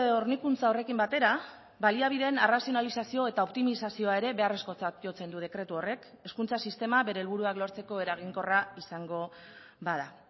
hornikuntza horrekin batera baliabideen arrazionalizazio eta optimizazioa ere beharrezkotzat jotzen du dekretu horrek hezkuntza sistema bere helburuak lortzeko eraginkorra izango bada